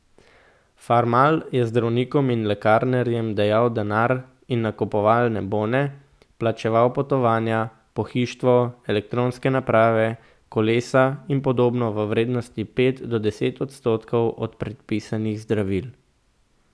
Farmal je zdravnikom in lekarnarjem dajal denar in nakupovalne bone, plačeval potovanja, pohištvo, elektronske naprave, kolesa in podobno v vrednosti pet do deset odstotkov od prepisanih zdravil.